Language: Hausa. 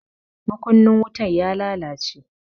Makunnin wutan ya lalace.